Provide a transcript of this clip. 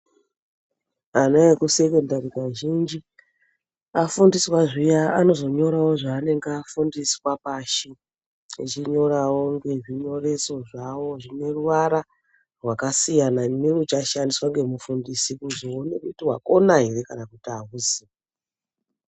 Ana ekusekondari kazhinji afundiswa zviya anozonyorawo zvaanenge afundiswa pashi echinyorawo ngezvinyoreso zvavo zvineruwara rwakasiyana neuchashandiswa ngemufundisi kuzoone kuti wakona ere kana kuti auzi.